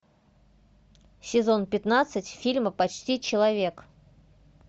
сезон пятнадцать фильма почти человек